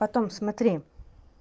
потом смотри